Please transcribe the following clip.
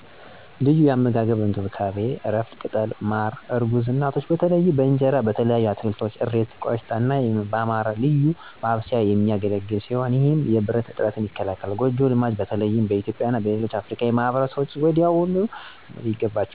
ለዩ አመጋገብ አና እንከብካቤ(እረፍት፣ ቅጠሎች፣ ማረ እርጉዝ እናቶች በተለይ በእንጀራ፣ በተለያዩ አትከልቶች (እሬት፣ ቆሽታ )አና በማረ ያለዉ ልዩ ማብሰያ የሚገለግል ሲሆነ ይህም የብረት እጥረትን ይከላከላል። ጎጀ ልማድች በተለይም በእትዩጵያ እና በሌሎች አፍርካዊ ማህበርሰቦች ዉስጥ ወዲያውኑ መተውይገባችዋል። ሊተዉ የሚገቡ ጎጂ ልማዶች የሴት ልጅ ግራዛት (FGM) ከእርግዝና በፈት ወይም በኋላ የሚደረግ ዉድ ሞት፣ የሆድ ህመም፣ ኢንፌክሽን አና የወሊድ አዳጋዎችን የስድጋል